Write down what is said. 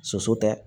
Soso tɛ